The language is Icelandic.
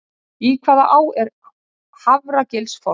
Í hvaða á er Hafragilsfoss?